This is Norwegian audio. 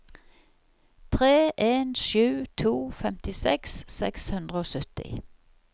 tre en sju to femtiseks seks hundre og sytti